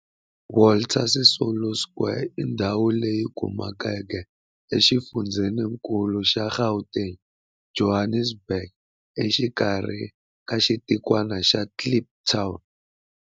Walter Sisulu Square i ndhawu leyi kumekaka exifundzheni-nkulu xa Gauteng, Johannesburg, a Soweto, exikarhi ka xitikwana xa Kliptown.